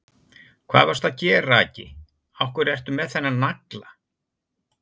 Hvað varstu að gera, Aggi. af hverju ertu með þennan nagla?